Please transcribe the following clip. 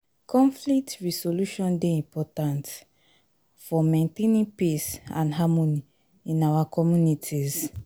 conflict resolution dey important for dey important for maintaining peace and harmony in our communities.